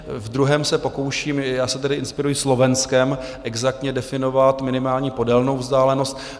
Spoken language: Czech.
V druhém se pokouším - já se tady inspiruji Slovenskem - exaktně definovat minimální podélnou vzdálenost.